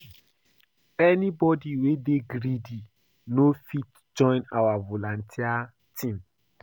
Anyibodi wey dey greedy no go fit join our volunteer team.